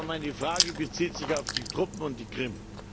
Aber meine Frage bezieht sich auf die Truppen und die Krim.